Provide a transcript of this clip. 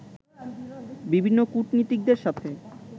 বিভিন্ন কূটনীতিকদের সাথে